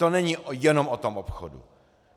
To není jenom o tom obchodu.